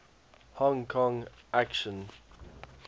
hong kong action